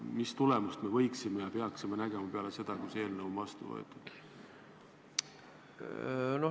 Mis tulemust me võiksime näha ja peaksime nägema peale seda, kui see eelnõu on vastu võetud?